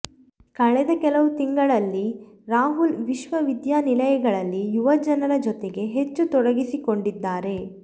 ಕಳೆದ ಕೆಲವು ತಿಂಗಳಲ್ಲಿ ರಾಹುಲ್ ವಿಶ್ವವಿದ್ಯಾನಿಲಯಗಳಲ್ಲಿ ಯುವ ಜನರ ಜೊತೆಗೆ ಹೆಚ್ಚು ತೊಡಗಿಸಿಕೊಂಡಿದ್ದಾರೆ